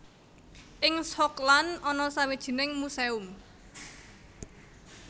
Ing Schokland ana sawijining muséum